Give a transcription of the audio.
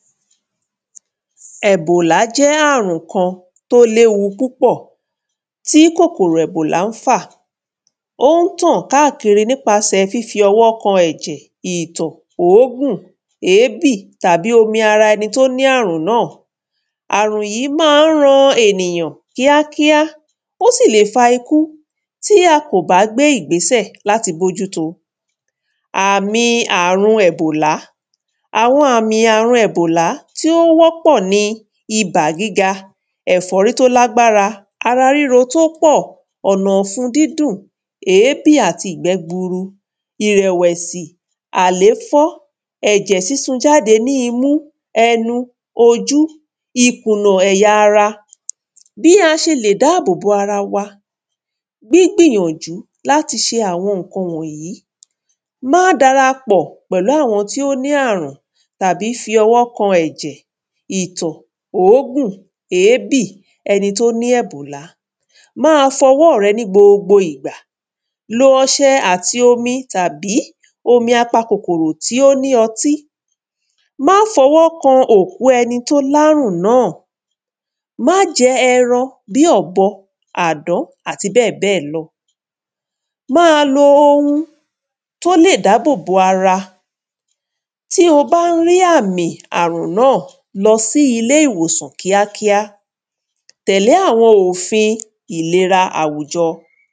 Ẹ̀bòlà jẹ́ àrùn kan tó léwu púpọ̀ tí kòkòrò ẹ̀bòlà ń fà ó ń tàn káàkíri nípasẹ fífi ọwọ́ kan ìtọ̀ òógùn èébì tàbí omi ara ẹni tí o ní àrùn náà àrùn yí ma ń ran ènìyàn kíákíá ó sì lè fa ikú tí a kò bá gbé ìgbésẹ̀ láti bójúto àmi àrùn ẹ̀bòlá àwọn àmi àrùn ẹ̀bòlá tí ó wọ́ pọ̀ ni ibà gíga ẹ̀fọ́rí tó lágbára ara ríro tí ó pọ̀ ọ̀nàfun dídùn èébì àti ìgbẹ́ gburu ìrẹ̀wẹ̀sì àléfọ́ ẹ̀jẹ̀ súsun jáde ní imú ẹnu ojú ikùnà ẹ̀ya ara bí a sẹ lè dábòbò ara wa gbígbìyànjú láti ṣe àwọn ǹkan wọ̀n yìí má darapọ̀ pẹ̀lú àwọn tí ó ní àrùn tàbí fi ọwọ́ kan ẹ̀jẹ̀ ìtọ̀ òógùn èébì ẹni tó ní ẹ̀bòla má a fọwọ́ rẹ ní gbogbo ìgbà lo ọṣẹ àti omi tàbí omi apakòkòrò tó ní otí má fọwọ́ kan òkú ẹni tó lárùn náà má jẹ ẹran bí ọ̀bọ àdán àti bẹ́ẹ̀ bẹ́ẹ̀ lọ má lo ohun tó lè dábòbò ara tí o bá ń rí àmì àrùn náà lọ sí ilé ìwòsàn kíákíá tẹ̀le àwọn òfin ìlera àwùjọ